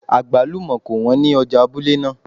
Àgbálùmọ́ kò wọ́n ní ọjà abúlé náà